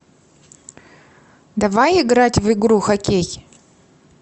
давай играть в игру хоккей